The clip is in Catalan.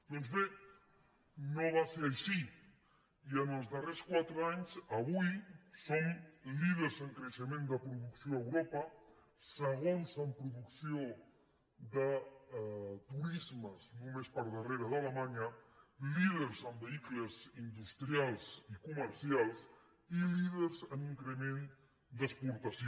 doncs bé no va ser així i en els darrers quatre anys avui som líders en creixement de producció a europa segons en producció de turismes només per darrere d’alemanya líders en vehicles industrials i comercials i líders en increment d’exportació